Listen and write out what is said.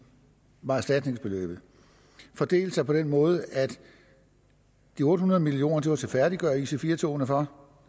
var erstatningsbeløbet fordelte sig på den måde at de otte hundrede million til at færdiggøre ic4 togene for